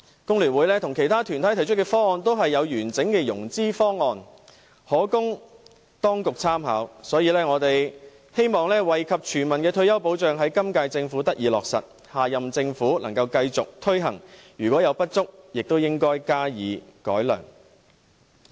工聯會和其他團體提出的方案均有完整的融資方案，可供當局參考，我們希望惠及全民的退休保障在今屆政府得以落實，下任政府能夠繼續推行，如有不足，亦應該加以改良。